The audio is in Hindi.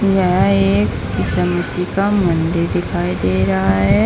यह एक ईसा मसीह का मंदिर दिखाई दे रहा है।